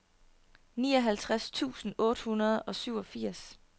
nioghalvtreds tusind otte hundrede og syvogfirs